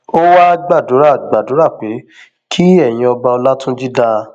ó wáá gbàdúrà gbàdúrà pé kí ẹyin ọba ọlọtúnjì dáa